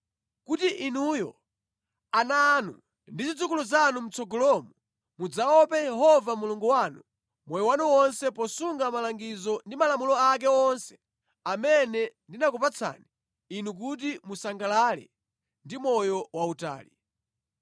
kuti inuyo, ana anu, ndi zidzukulu zanu mʼtsogolomo mudzaope Yehova Mulungu wanu moyo wanu wonse posunga malangizo ndi malamulo ake onse amene ndinakupatsani inu kuti musangalale ndi moyo wautali.